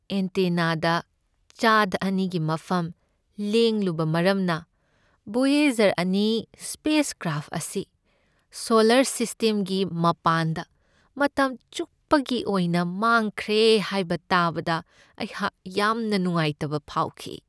ꯑꯦꯟꯇꯦꯅꯥꯗ ꯆꯥꯗ ꯑꯅꯤꯒꯤ ꯃꯐꯝ ꯂꯦꯡꯂꯨꯕ ꯃꯔꯝꯅ ꯕꯣꯌꯦꯖꯔ ꯑꯅꯤ ꯁ꯭ꯄꯦꯁ ꯀ꯭ꯔꯥꯐ ꯑꯁꯤ ꯁꯣꯂꯔ ꯁꯤꯁꯇꯦꯝꯒꯤ ꯃꯄꯥꯟꯗ ꯃꯇꯝ ꯆꯨꯞꯄꯒꯤ ꯑꯣꯏꯅ ꯃꯥꯡꯈ꯭ꯔꯦ ꯍꯥꯏꯕ ꯇꯥꯕꯗ ꯑꯩꯍꯥꯛ ꯌꯥꯝꯅ ꯅꯨꯡꯉꯥꯏꯇꯕ ꯐꯥꯎꯈꯤ꯫